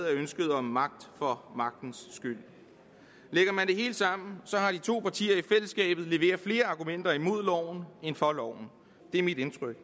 af ønsket om magt for magtens skyld lægger man det hele sammen har de to partier i fællesskabet leveret flere argumenter imod loven end for loven det er mit indtryk